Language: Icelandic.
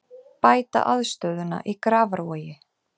Bæta aðstöðuna í Grafarvogi